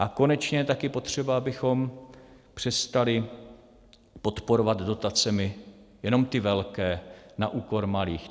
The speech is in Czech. A konečně je taky potřeba, abychom přestali podporovat dotacemi jenom ty velké na úkor malých.